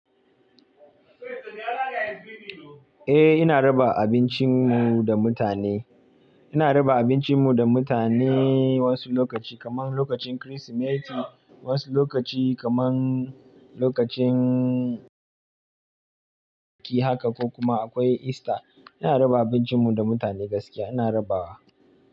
Eh ina raba abincin mu da mutane, ina raba abincin mu da mutane wasu lokaci kaman lokacin Kirsimeti wasu lokaci kaman lokacin ki haka ko kuma akwai Easter. Ina raba abincin mu da mutane gaskiya ina raba wa.